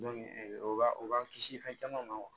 o b'a o b'an kisi fɛn caman ma